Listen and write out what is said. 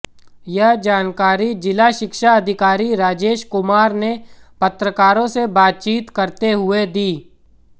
यह जानकारी जिला शिक्षा अधिकारी राजेश कुमार ने पत्रकारों से बातचीत करते हुए दी